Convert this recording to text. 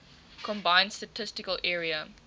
combined statistical area